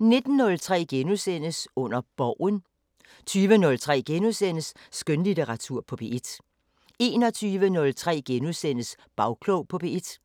19:03: Under Borgen * 20:03: Skønlitteratur på P1 * 21:03: Bagklog på P1